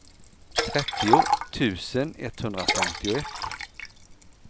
trettio tusen etthundrafemtioett